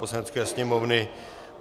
Poslanecké sněmovny